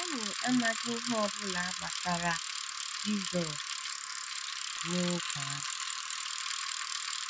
Anyị amaghi ihe ọ bụla gbasara Jisọshụ n’oge ahụ.